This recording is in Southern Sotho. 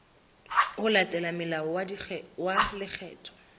ho latela molao wa lekgetho